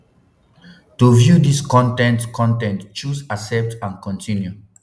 to view dis con ten t con ten t choose accept and continue